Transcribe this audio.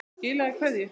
Skilaðu kveðju!